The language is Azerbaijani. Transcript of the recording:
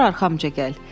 Götür arxamca gəl.